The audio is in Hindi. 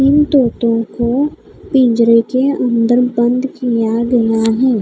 इन तोतों को पिंजरे के अंदर बंद किया गया है।